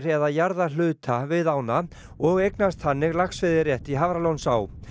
eða jarðahluta við ána og eignast þannig laxveiðirétt í Hafralónsá